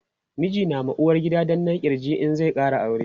miji na ma uwargida danna kirji in zai Kara aure